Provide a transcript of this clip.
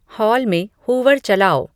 hall में hoover चालाओ